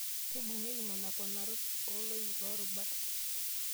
Kebung'ieki nena ponarot oloik loorubat.